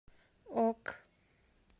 ок